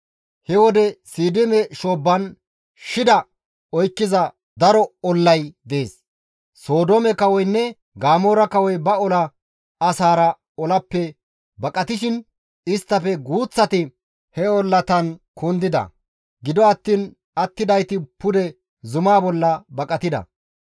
He wode Siidime shoobban, shida oykkiza daro ollay dees. Sodoome kawoynne Gamoora kawoy ba ola asaara olappe baqatishin, isttafe guuththati he ollatan kundida; gido attiin attidayti pude zuma bolla baqatida.